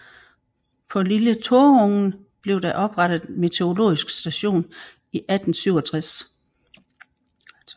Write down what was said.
På Lille Torungen blev der oprettet meteorologisk station i 1867